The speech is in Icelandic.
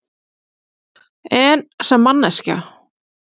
En sem manneskja?